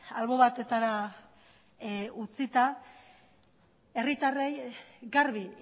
albo batetara utzita herritarrei garbi